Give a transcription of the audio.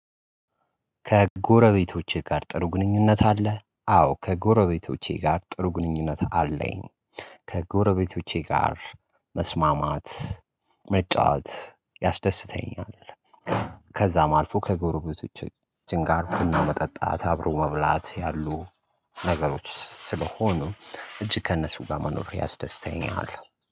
"ከጎረቤቶችህ ጋር ጥሩ ግንኙነት አለህ?" አዎ ከጎረቤቶቼ ጋር ጥሩ ግንኙነት አለኝ። ከጎረቤቶቼ ጋር መስማማት፣ መጫወት ያስደስተኛል። ከዛም አልፎ ከጎረቤቶቻችን ጋር ቡና መጠጣት፣ አብሮ መብላት ያሉ ነገሮች ስለሆኑ እጅግ ከእነሱ ጋር ማኖር ያስደስተኛል።